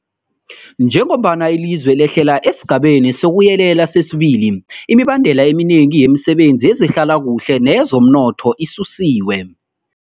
Njengombana ilizwe lehlela esiGabeni sokuYelela sesi-2, imibandela eminengi yemisebenzi yezehlalakuhle neyezomnotho isusiwe.